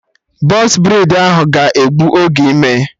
Bọx braidi ahụ ga egbu oge ime